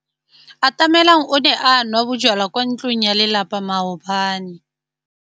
Atamelang o ne a nwa bojwala kwa ntlong ya tlelapa maobane.